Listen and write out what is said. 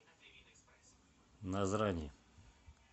назрани